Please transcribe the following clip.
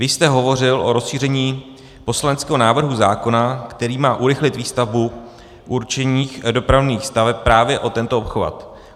Vy jste hovořil o rozšíření poslaneckého návrhu zákona, který má urychlit výstavbu určených dopravních staveb, právě o tento obchvat.